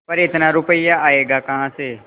पर इतना रुपया आयेगा कहाँ से